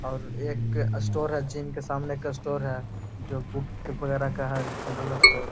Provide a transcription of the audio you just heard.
और एक स्टोर है जिम के सामने एक स्टोर है जो बुक के वगैरह का है जनरल स्टोर।